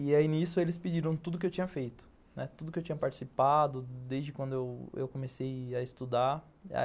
E aí, nisso, eles pediram tudo o que eu tinha feito, né, tudo o que eu tinha participado desde quando eu comecei a estudar.